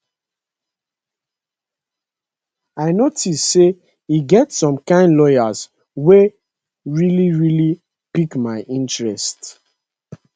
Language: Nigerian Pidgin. i notice say e get some kain lawyers wey really really pick my interest